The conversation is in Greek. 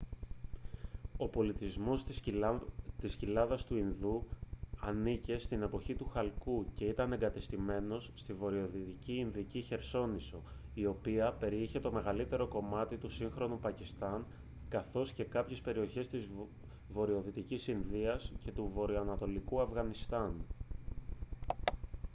ο πολιτισμός της κοιλάδας του ινδού ανήκε στην εποχή του χαλκού και ήταν εγκατεστημένος στη βορειοδυτική ινδική χερσόνησο η οποία περιείχε το μεγαλύτερο κομμάτι του σύγχρονου πακιστάν καθώς και κάποιες περιοχές της βορειοδυτικής ινδίας και του βορειοανατολικού αφγανιστάν